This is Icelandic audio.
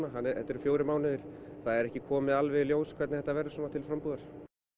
þetta eru fjórir mánuðir það er ekki komið alveg í ljós hvernig þetta verður til frambúðar